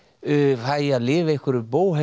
fæ að lifa einhverju